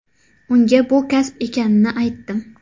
Unga bu kasb ekanini aytdim.